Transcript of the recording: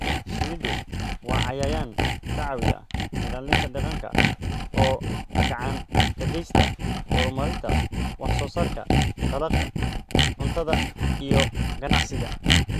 Shinnidu waa cayayaan ka caawiya ilaalinta deegaanka oo gacan ka geysta horumarinta wax soo saarka dalagga cuntada iyo ganacsiga.